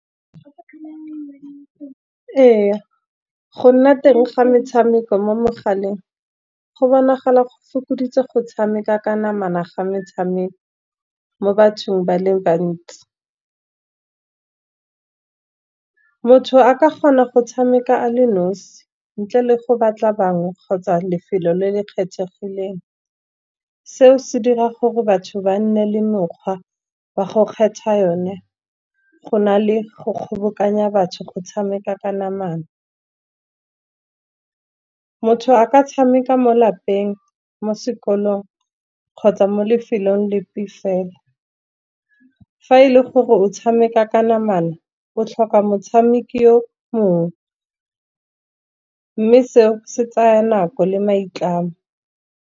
Ee, go nna teng ga metshameko mo megaleng, go bonagala go fokoditse go tshameka ka namana ga metshameko mo bathong ba le bantsi. Motho a ka kgona go tshameka a le nosi, ntle le go batla bangwe kgotsa lefelo le le kgethegileng. Seo se dira gore batho ba nne le mokgwa wa go kgetha yone, go na le go kgobokanya batho go tshameka ka namana. Motho a ka tshameka mo lapeng, mo sekolong kgotsa mo lefelong lefe fela. Fa e le gore o tshameka ka namana o tlhoka motshameki yo mongwe, mme seo se tsaya nako le maitlamo.